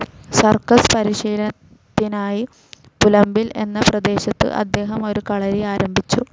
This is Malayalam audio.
സർക്കസ്‌ പരിശീലനത്തിനായി പുലമ്പിൽ എന്ന പ്രദേശത്തു അദ്ദേഹം ഒരു കളരി ആരംഭിച്ചു.